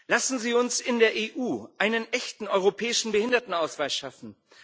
Lassen Sie uns in der EU einen echten europäischen Behindertenausweis schaffen!